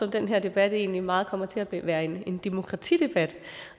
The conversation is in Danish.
at den her debat egentlig meget kommer til at være en demokratidebat